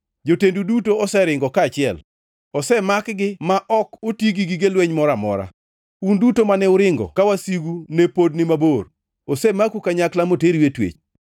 Jotendu duto oseringo kaachiel, osemakgi ma ok oti gi gige lweny moro amora. Un duto mane uringo ka wasigu ne pod ni mabor, osemaku kanyakla moteru e twech.